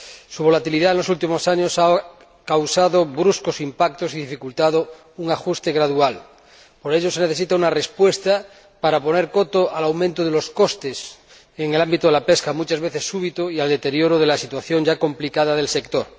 Su volatilidad en los últimos años ha causado bruscos impactos y dificultado un ajuste gradual. Por ello se necesita una respuesta para poner coto al aumento de los costes en el ámbito de la pesca, muchas veces súbito, y al deterioro de la situación ya complicada del sector.